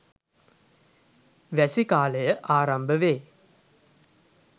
වැසි කාලය ආරම්භ වේ.